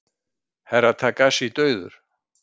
Herra Takashi dauður!